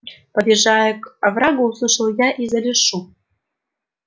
подъезжая к оврагу услышал я издали шум